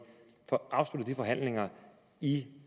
får afsluttet de forhandlinger i